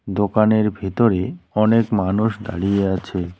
দোকানের ভেতরে অনেক মানুষ দাঁড়িয়ে আছে।